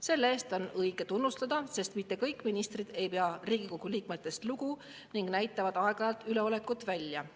Selle eest on õige tunnustada, sest mitte kõik ministrid ei pea Riigikogu liikmetest lugu ning näitavad aeg-ajalt üleolekut välja.